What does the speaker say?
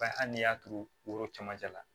Ba hali n'i y'a turu o camancɛ la